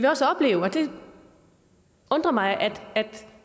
også opleve og det undrer mig at